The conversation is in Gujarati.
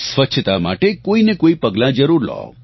સ્વચ્છતા માટે કોઈને કોઈ પગલાં જરૂર લો